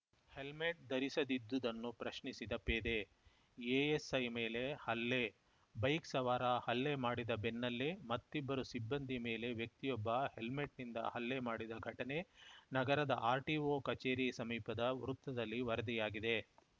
helmet ಧರಿಸಿದದಿದ್ದುದನ್ನು ಪ್ರಶ್ನಿಸಿದ ಪೇದೆ ಎಎಸ್‌ಐ ಮೇಲೆ ಹಲ್ಲೆ ಬೈಕ್‌ ಸವಾರ ಹಲ್ಲೆ ಮಾಡಿದ ಬೆನ್ನಲ್ಲೇ ಮತ್ತಿಬ್ಬರು ಸಿಬ್ಬಂದಿ ಮೇಲೆ ವ್ಯಕ್ತಿಯೊಬ್ಬ ಹೆಲ್ಮೆಟ್‌ನಿಂದ ಹಲ್ಲೆ ಮಾಡಿದ ಘಟನೆ ನಗರದ ಆರ್‌ಟಿಓ ಕಚೇರಿ ಸಮೀಪದ ವೃತ್ತದಲ್ಲಿ ವರದಿಯಾಗಿದೆ